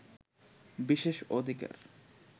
বিশেষ অধিকার